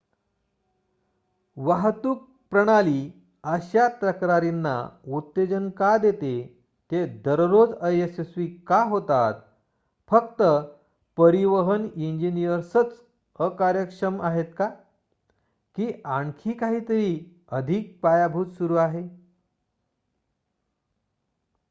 वाहतूक प्रणाली अशा तक्रारींना उत्तेजन का देते ते दररोज अयशस्वी का होतात फक्त परिवहन इंजिनिअर्सच अकार्यक्षम आहेत का की आखणी काहीतरी अधिक पायभूत सुरू आहे